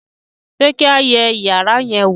ṣe kí a yé iyàrá yen wọ